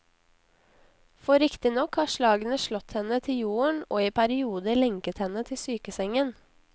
For riktignok har slagene slått henne til jorden og i perioder lenket henne til sykesengen.